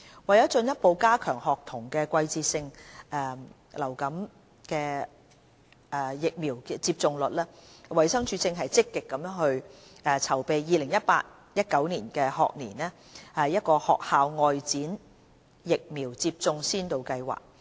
為進一步加強學童的季節性流感疫苗接種率，衞生署正積極籌備 2018-2019 學年學校外展疫苗接種先導計劃。